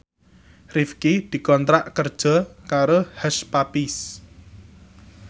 Rifqi dikontrak kerja karo Hush Puppies